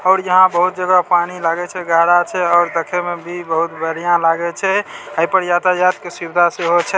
और यहां बहुत जगह पानी लागे छै गहरा छै और देखे में भी बहुत बढ़िया लागे छै ए पर यातायात के सुविधा सेहाे छै।